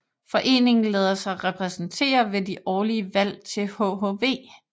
Foreningen lader sig repræsentere ved de årlige valg til hhv